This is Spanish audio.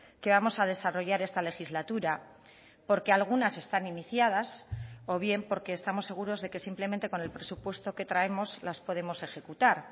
que vamos a desarrollar esta legislatura porque algunas están iniciadas o bien porque estamos seguros de que simplemente con el presupuesto que traemos las podemos ejecutar